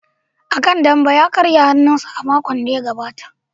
A kan dambe ya karya hannunsa a makon da ya gabata.